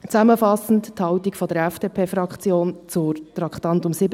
Zusammenfassend die Haltung der FDP-Fraktion zu den Traktanden 47 und 48: